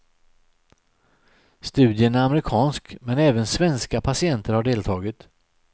Studien är amerikansk, men även svenska patienter har deltagit.